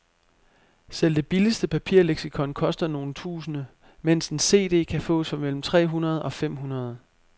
Selv det billigste papirleksikon koster nogle tusinde, mens en cd kan fås for mellem tre hundrede og fem hundrede.